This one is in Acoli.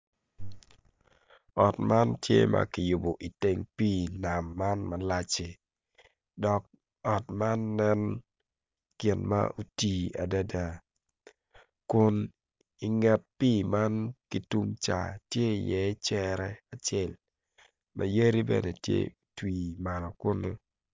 Ot man tye ki yubo i teng pii nam man malac-ci tuk kun winyo man opito tyene aryo odwoko angec winyo man oyaro bome kun tye ka tuk dogwinyo man tye ma yadi bene tye otwi malo kunu.